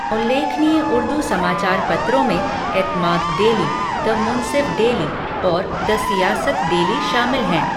उल्लेखनीय उर्दू समाचार पत्रों में Etemaad daily, the Munsif daily और द सियासत डेली शामिल हैं।